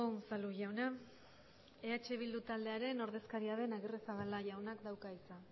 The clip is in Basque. unzalu jauna eh bildu taldearen ordezkaria den agirrezabala jaunak dauka hitza